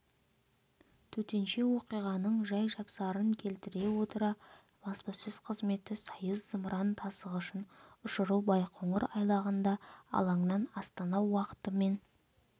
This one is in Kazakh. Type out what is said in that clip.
төтенше оқиғаның жай-жапсарын келтіре отыра баспасөз қызметі союз зымыран тасығышын ұшыру байқоңыр айлағында алаңнан астана уақытымен